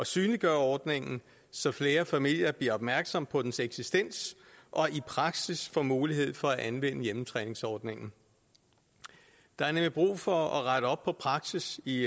synliggøre ordningen så flere familier bliver opmærksomme på dens eksistens og i praksis får mulighed for at anvende hjemmetræningsordningen der er nemlig brug for at rette op på praksis i